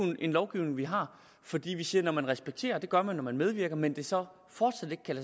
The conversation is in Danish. jo en lovgivning vi har fordi vi siger at når man respekterer afgørelsen det gør man når man medvirker men det så fortsat ikke kan